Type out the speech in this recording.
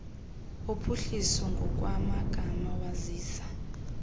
wophuhliso ngokwamagama wazisa